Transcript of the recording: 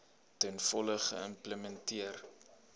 ten volle geïmplementeer